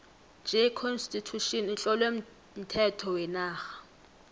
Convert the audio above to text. j constitution itlowe umthetho wenarha